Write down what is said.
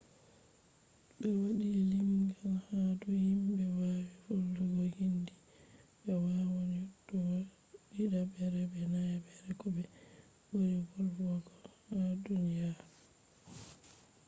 ɓe waɗi limgal ha dou himbe wawi volwugo hindi. ɓe wawan yottogo ɗiɗaɓre be nayaɓre ko ɓe ɓuri wolwogo ha duniyaru